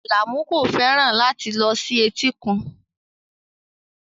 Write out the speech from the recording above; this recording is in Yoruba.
Alamu kò fẹ́ràn láti lọ sí etíkun